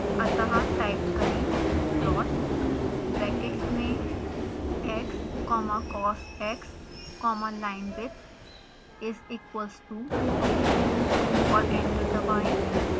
अतः टाइप करें plot brackets में x comma cosx comma linewidth is equals to 2 और एंटर दबाएं